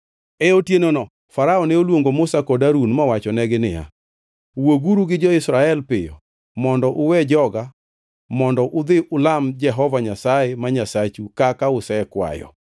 E otienono Farao ne oluongo Musa kod Harun mowachonegi niya, “Wuoguru gi jo-Israel piyo mondo uwe joga mondo udhi ulam Jehova Nyasaye ma Nyasachu kaka usekwayo.